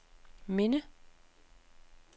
minde